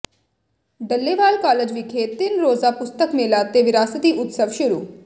Dallewal college ਵਿਖੇ ਤਿੰਨ ਰੋਜ਼ਾ ਪੁਸਤਕ ਮੇਲਾ ਤੇ ਵਿਰਾਸਤੀ ਉਤਸਵ ਸ਼ੁਰੂ